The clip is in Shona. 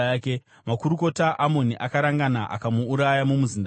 Makurukota aAmoni akarangana akamuuraya mumuzinda wake.